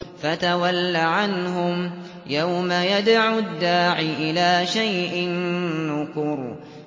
فَتَوَلَّ عَنْهُمْ ۘ يَوْمَ يَدْعُ الدَّاعِ إِلَىٰ شَيْءٍ نُّكُرٍ